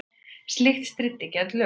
Slíkt stríddi gegn lögum